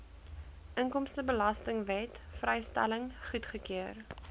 inkomstebelastingwet vrystelling goedgekeur